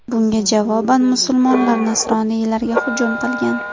Bunga javoban musulmonlar nasroniylarga hujum qilgan.